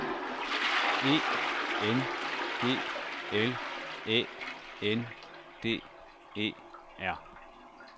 E N G L Æ N D E R